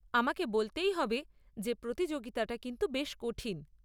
আমাকে বলতেই হবে যে প্রতিযোগিতাটা কিন্তু বেশ কঠিন।